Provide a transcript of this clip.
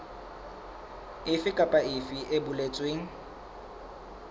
efe kapa efe e boletsweng